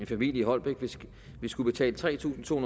familie i holbæk vil skulle betale tre tusind to